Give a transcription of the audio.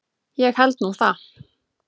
Ég held nú það!